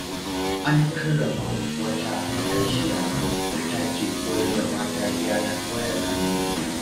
An karrama wata matashiya da ta ke koyar da mata gyaran wayar hannu.